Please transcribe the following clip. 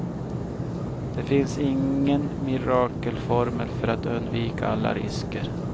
Det finns ingen mirakelformel för att undvika alla risker.